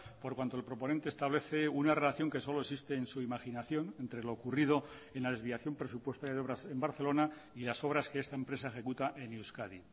por cuanto el proponente establece una relación que solo existe en su imaginación entre lo ocurrido en la desviación presupuestaria de obras en barcelona y las obras que esta empresa ejecuta en euskadi